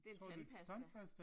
Det en tandpasta